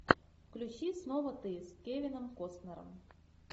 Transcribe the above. включи снова ты с кевином костнером